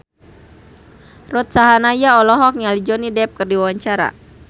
Ruth Sahanaya olohok ningali Johnny Depp keur diwawancara